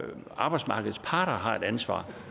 arbejdsmarkedets parter har et ansvar